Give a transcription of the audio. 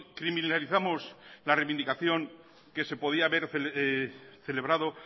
criminalizamos la reivindicación que se podía haber celebrado